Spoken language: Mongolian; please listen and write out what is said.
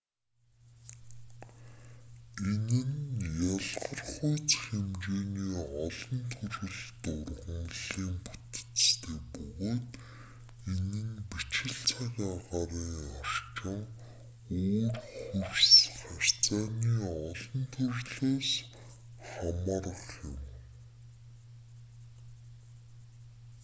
энэ нь ялгархуйц хэмжээний олон төрөлт ургамалын бүтэцтэй бөгөөд энэ нь бичил цаг агаарынын орчин өөр хөрс харьцааны олон төрлөөс хамаарах юм